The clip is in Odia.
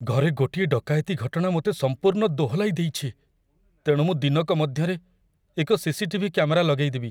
ଘରେ ଗୋଟିଏ ଡକାୟତି ଘଟଣା ମୋତେ ସମ୍ପୂର୍ଣ୍ଣ ଦୋହଲାଇ ଦେଇଛି, ତେଣୁ ମୁଁ ଦିନକ ମଧ୍ୟରେ ଏକ ସିସିଟିଭି କ୍ୟାମେରା ଲଗେଇଦେବି।